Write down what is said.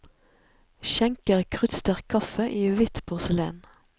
Skjenker kruttsterk kaffe i hvitt porselen.